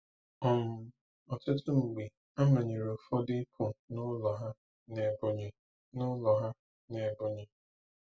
um Ọtụtụ mgbe a manyere ụfọdụ ịpụ n'ụlọ ha n'Ebonyi. n'ụlọ ha n'Ebonyi.